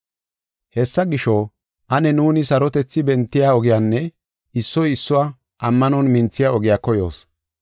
Hessa gisho, ane nuuni sarotethi bentiya ogiyanne issuwa issuwa ammanon minthiya ogiya koyoos.